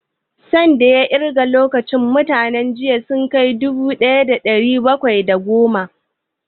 San da ya ƙirga lokacin da mintuna jiya ya kai mintuna dubu ɗaya da ɗari bakwai da goma?